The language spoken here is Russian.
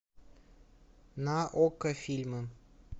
на окко фильмы